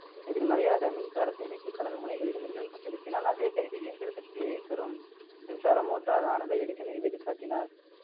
எதிர்மறையாக மின்சார சேமிப்பு களன் முனைகளில் மின்னழுத்தம் செலுத்தினால் அதே கருவி இயந்திர சக்தியை தரும் மின்சார motor ஆனதை எடிசன் நிரூபித்து காட்டினார்